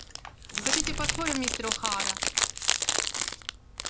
хотите поспорим мистер охара